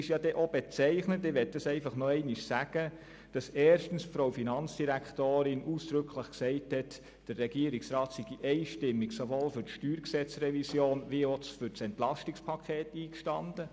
Es war denn auch bezeichnend, als die Finanzdirektorin ausdrücklich gesagt hat, der Regierungsrat sei einstimmig sowohl für die StG-Revision als auch für das EP eingestanden.